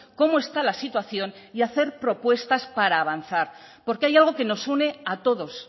cómo está la situación y hacer propuestas para avanzar porque hay algo que nos une a todos